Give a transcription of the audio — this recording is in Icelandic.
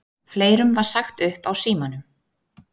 Fleirum var sagt upp á Símanum